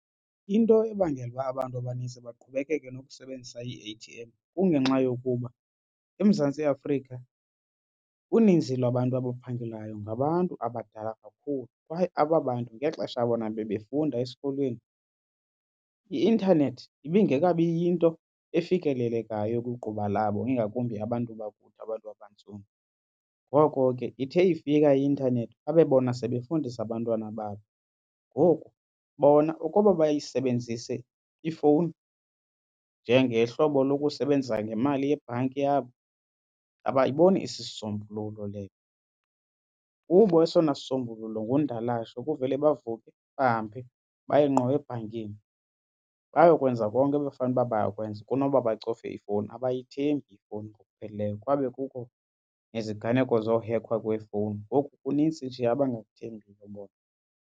Into ebangela uba abantu abanintsi baqhubekeke nokusebenzisa ii-A_T_M kungenxa yokuba eMzantsi Afrika uninzi lwabantu abaphangelayo ngabantu abadala kakhulu kwaye aba bantu ngexesha bona bebefunda esikolweni i-intanethi ibingekabi yinto efikelelekayo kwigquba labo ingakumbi abantu bakuthi abantu abantsundu. Ngoko ke ithe ifika i-intanethi babe bona sebefundisa abantwana babo. Ngoku bona ukuba bayisebenzise ifowuni njengehlobo lokusebenzisa ngemali yebhanki yabo abayiboni isisombululo leyo. Kubo esona sisombululo ngundalashe kuvele bavuke bahambe baye ngqo ebhankini bayokwenza konke ebekufanele uba bayakwenza kunoba bacofe ifowuni. Abayithembi ifowuni ngokupheleleyo kwabe kukho neziganeko zohekhwa kwefowuni ngoku kunintsi nje abangakuthembiyo bona.